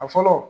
A fɔlɔ